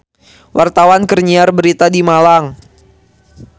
Wartawan keur nyiar berita di Malang